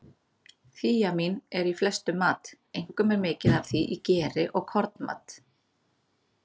Þíamín er í flestum mat, einkum er mikið af því í geri og kornmat.